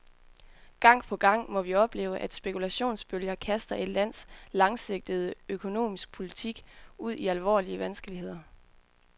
Gang på gang må vi opleve, at spekulationsbølger kaster et lands langsigtede økonomiske politik ud i alvorlige vanskeligheder.